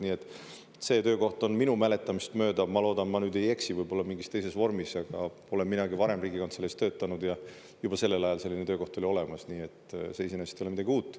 Nii et see töökoht on, minu mäletamist mööda, ma loodan, ma nüüd ei eksi, võib-olla mingis teises vormis, aga olen minagi varem Riigikantseleis töötanud ja juba sellel ajal selline töökoht oli olemas, nii et see iseenesest ei ole midagi uut.